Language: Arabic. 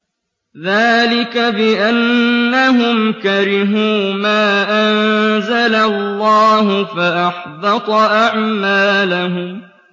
ذَٰلِكَ بِأَنَّهُمْ كَرِهُوا مَا أَنزَلَ اللَّهُ فَأَحْبَطَ أَعْمَالَهُمْ